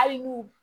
Hali n'u